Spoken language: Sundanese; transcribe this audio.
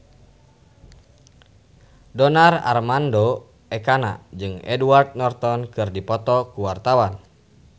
Donar Armando Ekana jeung Edward Norton keur dipoto ku wartawan